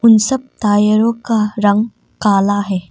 इन सब टायरों का रंग काला है।